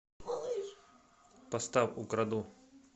поставь украду